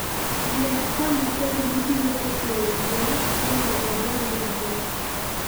Yier kama ber mibiro ketoe yien mondo odongi maber.